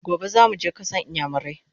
Gobe zamuje kasan iyamurai!